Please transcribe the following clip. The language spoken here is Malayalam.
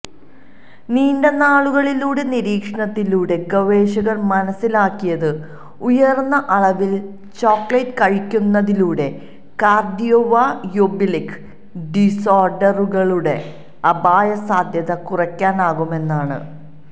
നീണ്ട നാളുകളിലെ നിരീക്ഷണത്തിലൂടെ ഗവേഷകർ മനസിലാക്കിയത് ഉയർന്ന അളവിൽ ചോക്ലേറ്റ് കഴിക്കുന്നതിലൂടെ കാർഡിയോവയോബിളിക് ഡിസോർഡിയറുകളുടെ അപായ സാധ്യത കുറയ്ക്കാനാകുമെന്നാണ്